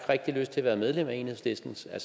lyst til at være medlem af enhedslisten sådan